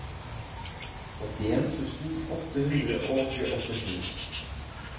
åttien tusen åtte hundre og åttisju